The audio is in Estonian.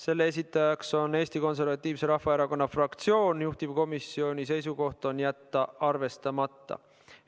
Selle esitaja on Eesti Konservatiivse Rahvaerakonna fraktsioon, juhtivkomisjoni seisukoht on jätta see arvestamata.